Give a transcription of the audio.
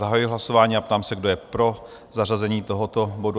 Zahajuji hlasování a ptám se, kdo je pro zařazení tohoto bodu?